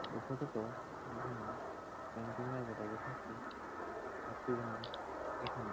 এই ফটো -টো একজনা ক্যান্টিন -এর হোটেল -এর ফটো একটি জন এখানে--